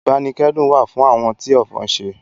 Ìbánikẹ́dùn wà fún àwọn tí ọ̀fọ̀ ṣẹ̀